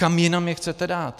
Kam jinam je chcete dát?